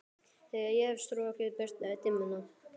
Þegar ég hef strokið burt dimmuna.